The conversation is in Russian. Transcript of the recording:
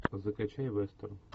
закачай вестерн